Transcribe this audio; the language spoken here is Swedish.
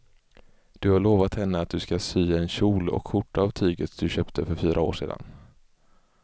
Du har lovat henne att du ska sy en kjol och skjorta av tyget du köpte för fyra år sedan.